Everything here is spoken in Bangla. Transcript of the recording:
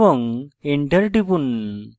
এবং enter টিপুন